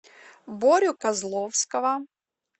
борю козловского